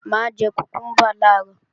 Mà á jẹ kùkúmbà làárọ̀